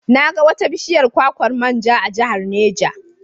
Na ga wata bishiyar kwakwar man ja a Jihar Neja.